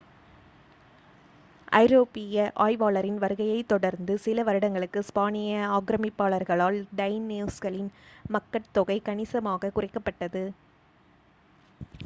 ஐரோப்பியர் ஆய்வாளர்களின் வருகையைத் தொடர்ந்து சில வருடங்களுக்குள் ஸ்பானிய ஆக்ரமிப்பாளர்களால் டைனோஸ்களின் மக்கட்தொகை கணிசமாக குறைக்கப்பட்டது